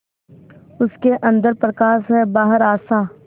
उसके अंदर प्रकाश है बाहर आशा